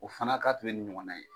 O fana k'a tun ye ni ɲɔgɔn ye